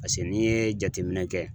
Paseke n'i ye jateminɛ kɛ.